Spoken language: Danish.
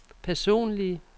personlige